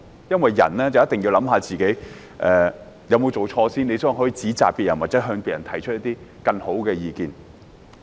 因為人一定要先反思自己有沒有做錯，然後才可以指責別人，或向別人提出更好的意見。